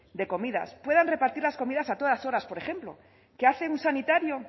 de comidas puedan repartir las comidas a todas horas por ejemplo qué hacen un sanitario